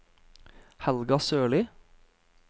Helga Sørlie